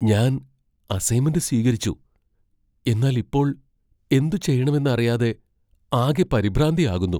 ഞാൻ അസൈൻമെന്റ് സ്വീകരിച്ചു, എന്നാൽ ഇപ്പോൾ എന്തുചെയ്യണമെന്ന് അറിയാതെ ആകെ പരിഭ്രാന്തി ആകുന്നു.